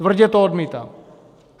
Tvrdě to odmítám!